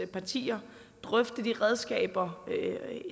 partier drøfte de redskaber